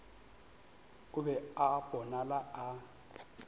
o be a bonala a